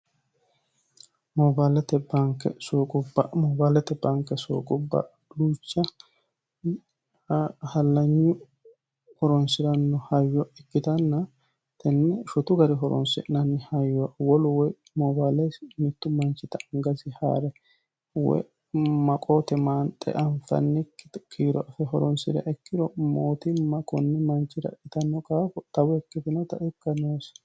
bbnqbmoobaalete banke sooqubba luucha hallanyu horonsi'ranno hayyo ikkitanna tenni shutu gari horonse'nanni hayyo wolu woy moobaalei mittu manchita angasi haa're woy maqoote maanxe anfannikki kiiro fe horonsi're ikkiro mootimma kunni manchi ra dhitanno qaafu xawu ikkitinota ikka noosa